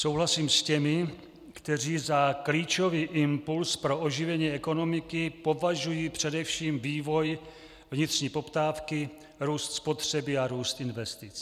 Souhlasím s těmi, kteří za klíčový impuls pro oživení ekonomiky považují především vývoj vnitřní poptávky, růst spotřeby a růst investic.